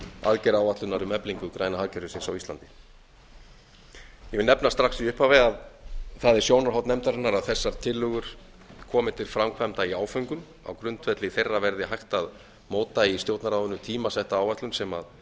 aðgerðaáætlunar um eflingu græna hagkerfisins á íslandi ég vil eða strax í upphafi að það er sjónarhorn nefndarinnar að þessar tillögur komi til framkvæmda í áföngum á grundvelli þeirra verði hægt að móta í stjórnarráðinu tímasetta áætlun sem